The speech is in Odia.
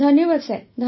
ଧନ୍ୟବାଦ ସାର୍